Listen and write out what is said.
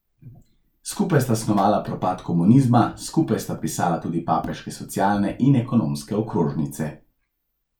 Skupaj sta snovala propad komunizma, skupaj sta pisala tudi papeške socialne in ekonomske okrožnice.